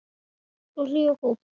Svo hlý og góð.